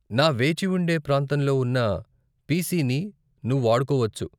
నా వేచిఉండే ప్రాంతంలో ఉన్న పిసిని నువ్వు వాడుకోవచ్చు.